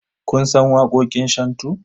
Kun san waƙoƙin shantu?